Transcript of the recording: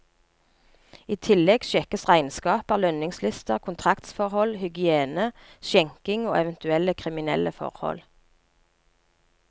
I tillegg sjekkes regnskaper, lønningslister, kontraktsforhold, hygiene, skjenking og eventuelle kriminelle forhold.